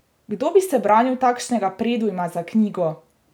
Kdo bi se branil takšnega predujma za knjigo!